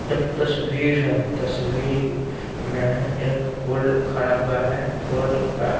एक तस्वीर हैं तस्वीर में एक फोल्ड खड़ा हुआ हैं फोल्ड का--